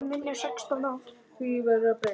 Of lítið annað undir.